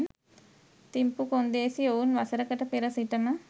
තිම්පු කොන්දේසි ඔවුන් වසරකට පෙර සිටම